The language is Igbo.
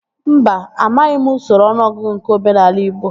Mba, amaghị m usoro ọnụọgụgụ nke omenaala igbo